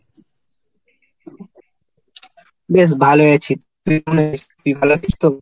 বেশ ভালোই আছি। তুই কেমন আছিস? তুই ভালো আছিস তো?